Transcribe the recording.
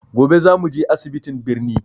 Gobe za mu je asibitiin birni.